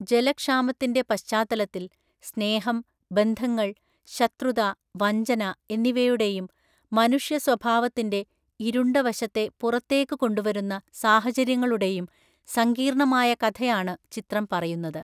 ജലക്ഷാമത്തിൻ്റെ പശ്ചാത്തലത്തിൽ സ്നേഹം, ബന്ധങ്ങൾ, ശത്രുത, വഞ്ചന എന്നിവയുടെയും മനുഷ്യ സ്വഭാവത്തിൻ്റെ ഇരുണ്ട വശത്തെ പുറത്തേക്ക് കൊണ്ടുവരുന്ന സാഹചര്യങ്ങളുടെയും സങ്കീർണ്ണമായ കഥയാണ് ചിത്രം പറയുന്നത്.